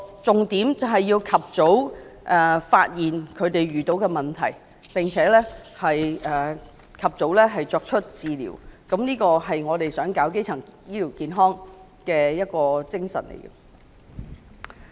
重點是要及早發現他們所遇到的問題並及早提供治療，這才符合提供基層醫療健康服務的精神。